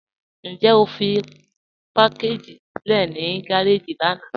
Njẹ́ o fí pakàgì sílẹ̀ ní gàràjì lànà?